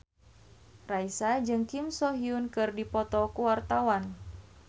Raisa jeung Kim So Hyun keur dipoto ku wartawan